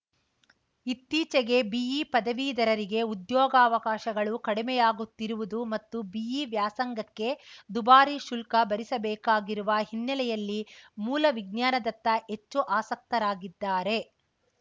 ಇತ್ತೀಚೆಗೆ ಬಿಇ ಪದವೀಧರರಿಗೆ ಉದ್ಯೋಗಾವಕಾಶಗಳು ಕಡಿಮೆಯಾಗುತ್ತಿರುವುದು ಮತ್ತು ಬಿಇ ವ್ಯಾಸಂಗಕ್ಕೆ ದುಬಾರಿ ಶುಲ್ಕ ಭರಿಸಬೇಕಾಗಿರುವ ಹಿನ್ನೆಲೆಯಲ್ಲಿ ಮೂಲ ವಿಜ್ಞಾನದತ್ತ ಹೆಚ್ಚು ಆಸಕ್ತರಾಗಿದ್ದಾರೆ